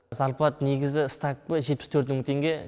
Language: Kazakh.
зарплат негізі ставкімен жетпіс төрт мың теңге